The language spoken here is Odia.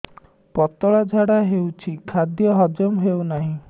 ପତଳା ଝାଡା ହେଉଛି ଖାଦ୍ୟ ହଜମ ହେଉନାହିଁ